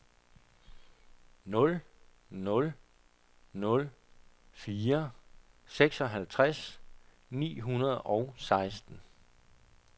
nul nul nul fire seksoghalvtreds ni hundrede og seksten